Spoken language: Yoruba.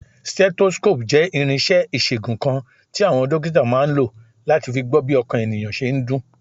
Stethoscope jẹ́ irinṣẹ́ ìṣègùn kan tí àwọn dókítà máa ń lò láti fi gbọ́ bí ọkàn ènìyàn ṣe ń dún.